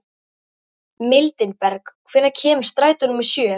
Mildinberg, hvenær kemur strætó númer sjö?